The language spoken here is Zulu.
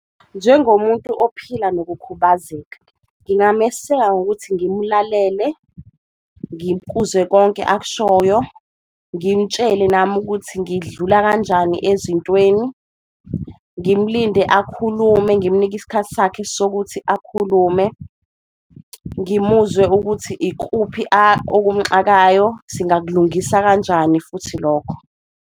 Njengomuntu ophila nokukhubazeka ngingameseka ngokuthi ngimlalele, ngikuzwe konke akushoyo, ngimtshele nami ukuthi ngidlula kanjani ezintweni, ngimlinde akhulume ngimnike isikhathi sakhe sokuthi akhulume. Ngimuzwe ukuthi ikuphi okumxakayo, singakulungisa kanjani futhi lokho.